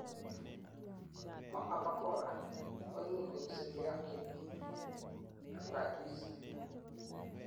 mo abakora, koimuch koib simdo acute bronchitis